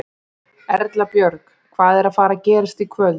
Erla Björg: Hvað er að fara gerast í kvöld?